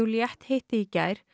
Juliette hitti í gær